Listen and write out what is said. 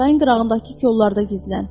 Çayın qırağındakı kollarda gizlən.